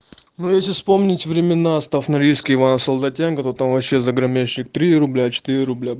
ну если вспомнить времена остав норильский в а солдатенко то там вообще заграменщик три рубля четыре рубля